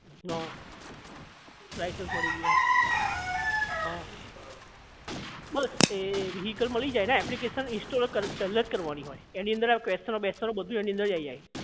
હા લાઇસન્સ મળી ગયું હા બસ એ vehicle મળી જાય ને application install પહેલાજ કરવાની હોય એની અંદર આ question બેસ્ચનો બધું એની અંદરજ આવી જાય